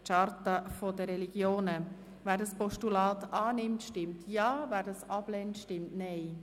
Wer dieses Postulat annimmt, stimmt Ja, wer es ablehnt, stimmt Nein.